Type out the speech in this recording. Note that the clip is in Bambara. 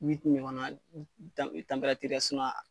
ɲɔgɔnna